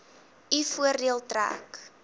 u voordeel trek